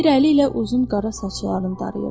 Bir əli ilə uzun qara saçlarını darayırdı.